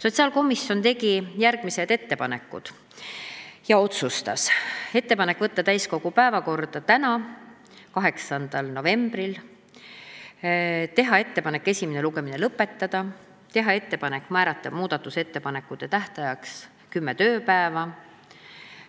Sotsiaalkomisjon otsustas teha ettepaneku saata eelnõu täiskogu päevakorda tänaseks, 8. novembriks, teha ettepaneku esimene lugemine lõpetada, teha ettepaneku määrata muudatusettepanekute esitamise tähtajaks kümme tööpäeva